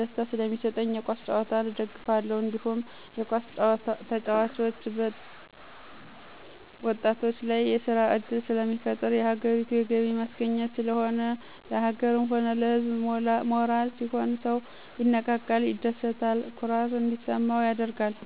ደስታ ሰለሚስጠኝ የኳስ ጭዋታን እደግፋለሁ። እንዲሁም የኳስ ተጨዋቾች ወጣቶች ላይ የስራ እድል ስለሚፈጥር የሀገሪቱ የገቢ ማስገኛ ስለሆነ፣ ለሀገርም ሆነ ለህዝብ ሞራል ሲሆን ሰው ይነቃቃል፣ ይደስታ፣ ኩራት እንዲሰማው ያደርጋል።